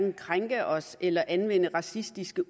at krænke os eller anvende racistiske